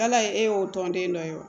Ala ye e y'o tɔnden dɔ ye